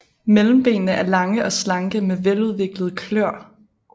Mellembenene er lange og slanke med veludviklede kløer